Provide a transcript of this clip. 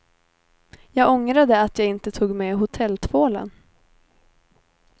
Jag ångrade att jag inte tog med hotelltvålen.